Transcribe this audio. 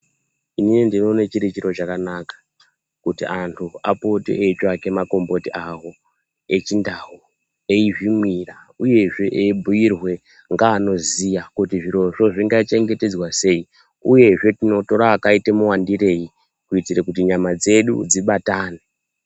Inini ndinoone chiri chiro chakanaka kuti antu apote eitsvaka makomboti awo echindau eizvimwira uyezve eibhiirwa ngeanoziya kuti zvirozvo zvingachengetedzwa sei uyezve tinotora akaite muwandirei kuti nyama dzedu dzibatane.